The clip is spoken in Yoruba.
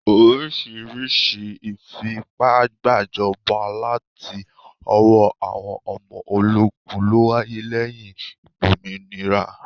Oríṣiríṣi ìfipágbàjọba láti ọwọ́ àwọn ọmọ ológun lówáyé lẹ́yìn ìgbòmìnira.